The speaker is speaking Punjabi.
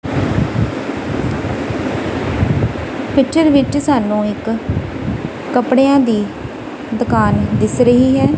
ਪਿਚਰ ਵਿੱਚ ਸਾਨੂੰ ਇੱਕ ਕੱਪੜਿਆਂ ਦੀ ਦੁਕਾਨ ਦਿੱਸ ਰਹੀ ਹੈ।